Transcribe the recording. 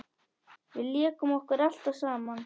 Við lékum okkur alltaf saman.